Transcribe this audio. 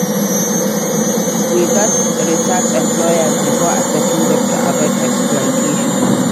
We gats research employers before accepting job to avoid exploitation.